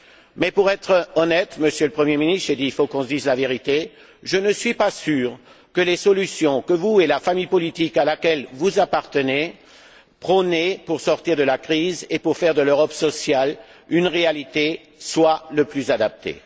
Mais pour être honnête, Monsieur le Premier ministre j'ai dit il faut qu'on se dise la vérité je ne suis pas sûr que les solutions que vous, et la famille politique à laquelle vous appartenez, prônez pour sortir de la crise et pour faire de l'Europe sociale une réalité soit les plus adaptées.